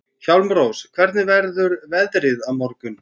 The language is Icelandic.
Hjálmrós, hvernig verður veðrið á morgun?